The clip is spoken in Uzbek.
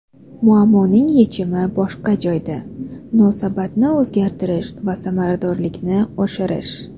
Muammoning yechimi boshqa joyda: munosabatni o‘zgartirish va samaradorlikni oshirish.